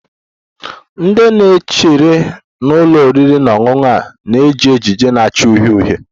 Ndị na-echere n'ụlọ oriri na ọṅụṅụ a na-eji ejiji na-acha uhie uhie